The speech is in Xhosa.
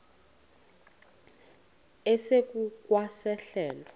esingu kwa sehlelo